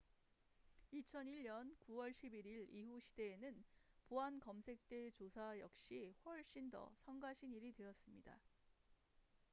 2001년 9월 11일 이후 시대에서는 보안 검색대 조사 역시 훨씬 더 성가신 일이 되었습니다